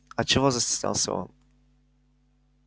а чего застеснялся он